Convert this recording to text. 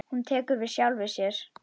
Hún tekur við sjálfri sér.